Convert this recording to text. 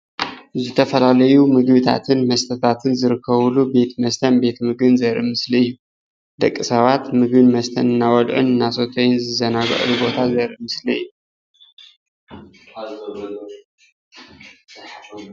ዝተፈላለዩ ምግብታትን መስተታቶን ዝርከብሉ ቤት መስተን ምግብን ዘርኢ ምስሊ እዩ። ደቅሰባት ምግቢ እናበልዑን መመስተ እናሰተዩን እናተዘናግዑን ዘርኢ ምስሊ እዩ።